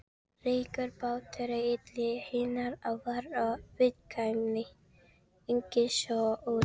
Ríkur þáttur í eðli hennar var viðkvæmni, angist og ótti.